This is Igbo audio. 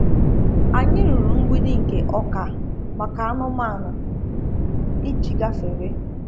Anyị rụrụ mgbidi nke ọka maka anụmanụ iji gafere.